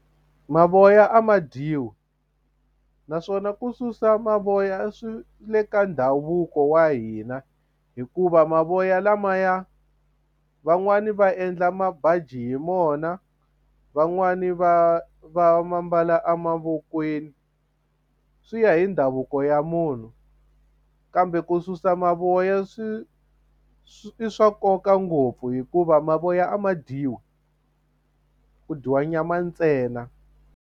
Mavoya a ma dyiwi naswona ku susa mavoya swi le ka ndhavuko wa hina hikuva mavoya lamaya van'wani va endla mabaji hi mona van'wani va va ma mbala emavokweni swi ya hi ndhavuko ya munhu kambe ku susa mavoya swi i swa nkoka ngopfu hikuva mavoya a ma dyiwi ku dyiwa nyama ntsena.